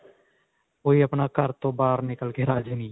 ਕੋਈ ਆਪਣਾ ਘਰ ਤੋਂ ਬਾਹਰ ਨਿਕਲ ਕੇ ਰਾਜੀ ਨਹੀਂ.